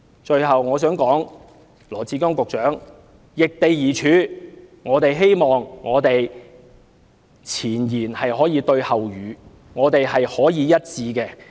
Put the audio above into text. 最後，我想請羅致光局長易地而處，希望前言能夠對後語，想法可以一致。